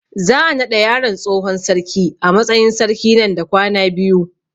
Za a naɗa yaron tsohon sarki a matsayin sarki nan da kwana biyu